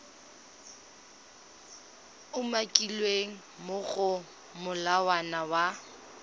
umakilweng mo go molawana wa